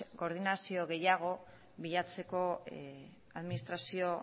koordinazio gehiago bilatzeko administrazio